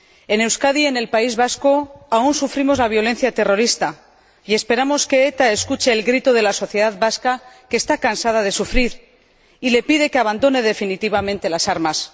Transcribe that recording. En Euskadi, en el País Vasco, aún sufrimos la violencia terrorista y esperamos que ETA escuche el grito de la sociedad vasca, que está cansada de sufrir y le pide que abandone definitivamente las armas.